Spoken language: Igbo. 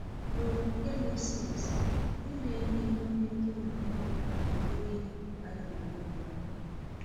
N’okwukwe Moses, ime ihe n’ime di na nwunye bụ mmehie a ga-egbu mmadụ.